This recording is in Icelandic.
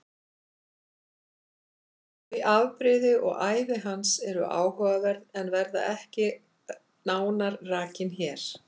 Þau afbrigði og ævi hans eru áhugaverð en verða ekki nánar rakin hér.